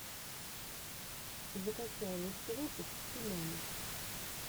закачай лучший выпуск хи мэна